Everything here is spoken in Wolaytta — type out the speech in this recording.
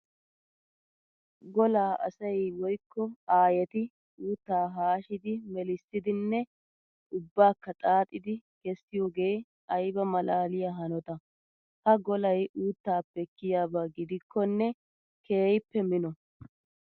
Gollaa asay woykko aayetti uutta haashshiddi melissidinne ubbakka xaaxxiddi kessiyooge aybba malaaliya hanota! Ha gollay uuttappe kiyiyabba gidikkonne keehippe mino.